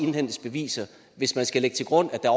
indhentes beviser hvis man skal lægge til grund at der